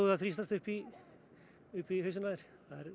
að þrýstast upp í upp í hausinn á þér það